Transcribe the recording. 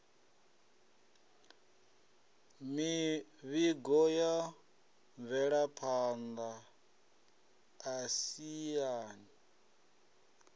mivhigo ya mvelaphan ḓa siani